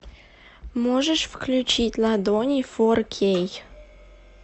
можешь включить ладони фор кей